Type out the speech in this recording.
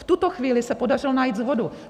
V tuto chvíli se podařilo najít shodu.